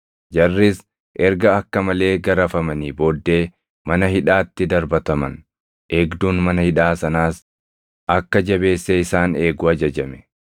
Jarris erga akka malee garafamanii booddee mana hidhaatti darbataman; eegduun mana hidhaa sanaas akka jabeessee isaan eegu ajajame.